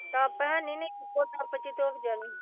Tub ਹੈਨੀ ਨਹੀਂ ਇੱਕੋ ਟੱਬ ਚ ਹੀ ਧੋਈ ਜਾਣੀ।